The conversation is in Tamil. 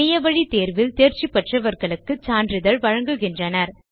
இணைய வழி தேர்வில் தேர்ச்சி பெற்றவர்களுக்கு சான்றிதழ் வழங்குகின்றனர்